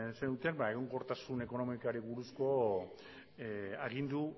zenuten egonkortasun ekonomikoari buruzko agindu